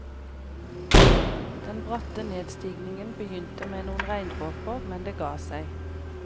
Den bratte nedstigningen begynte med noen regndråper, men det gav seg.